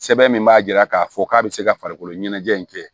Sɛbɛn min b'a jira k'a fɔ k'a bɛ se ka farikolo ɲɛnajɛ in kɛ